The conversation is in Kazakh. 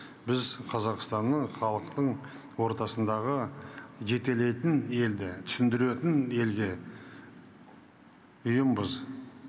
біз қазақстанның халықтың ортасындағы жетелейтін елді түсіндіретін елге ұйымбыз